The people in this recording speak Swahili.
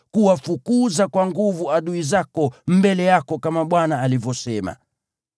kuwafukuza kwa nguvu adui zako mbele yako kama Bwana alivyosema.